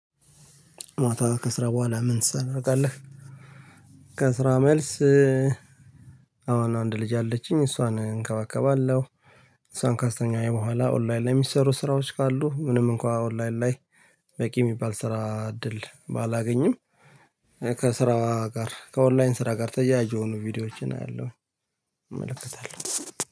ማታ ከስራ በኋላ ምን ትሰራለህ? ከስራ መልስ አሁን አንድ ልጅ አለችኝ እሷን እንከባከባለሁ። እሷን ካስተኛሁ በኋላ ኦንላይን ላይ የሚሰሩ ስራዎች ካሉ ምንም እንኳን ኦንላይን ላይ። በቂ የሚባል ስራ እድል ባላገኝም። ከስራ ጋር ከኦንላይን ስራ ጋር ተያያዥ የሆኑ ቪዲዮዎችን አያለሁኝ። እመለከታለሁ